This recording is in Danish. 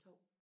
2